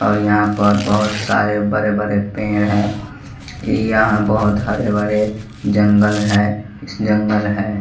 और यहां पर बहोत सारे बड़े बड़े पेड़ है यहां बहोत हरे भरे जंगल है इस जंगल है।